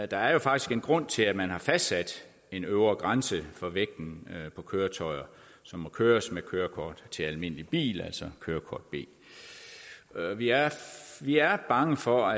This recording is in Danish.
der er jo faktisk en grund til at man har fastsat en øvre grænse for vægten på køretøjer som må køres med kørekort til almindelig bil altså kørekort b vi er vi er bange for